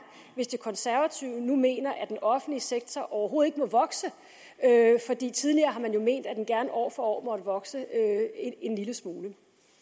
hvis de konservative nu mener at den offentlige sektor overhovedet ikke må vokse fordi tidligere har man jo ment at den gerne år for år måtte vokse en lille smule